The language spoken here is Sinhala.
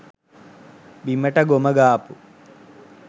බිමට ගොම ගාපු,